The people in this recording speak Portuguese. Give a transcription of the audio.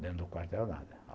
Dentro do quartel, nada.